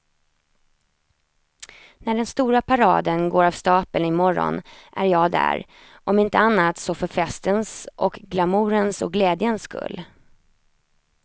När den stora paraden går av stapeln i morgon är jag där, om inte annat så för festens och glamourens och glädjens skull.